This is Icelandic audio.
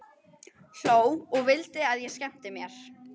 Hló og vildi að ég skemmti mér.